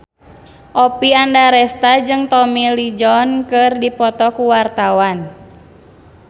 Oppie Andaresta jeung Tommy Lee Jones keur dipoto ku wartawan